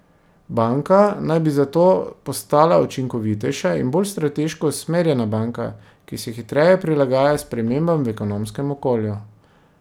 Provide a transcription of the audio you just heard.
Banka naj bi zato postala učinkovitejša in bolj strateško usmerjena banka, ki se hitreje prilagaja spremembam v ekonomskem okolju.